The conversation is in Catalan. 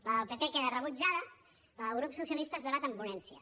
la del pp queda rebutjada la del grup socialista es debat en ponència